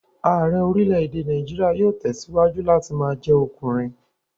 Ààrẹ́ orílè-èdè Nàìjíríà yóò tẹ̀síwájú láti ma jẹ́ ọkùnrin